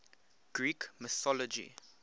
greek mythology